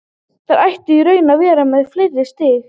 Þeir ættu í raun að vera með fleiri stig.